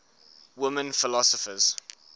women philosophers